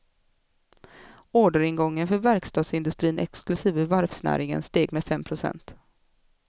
Orderingången för verkstadsindustrin, exklusive varvsnäringen, steg med fem procent.